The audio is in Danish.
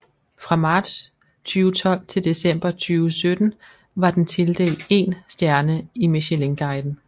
Fra marts 2012 til december 2017 var den tildelt én stjerne i Michelinguiden